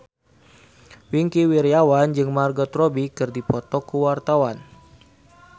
Wingky Wiryawan jeung Margot Robbie keur dipoto ku wartawan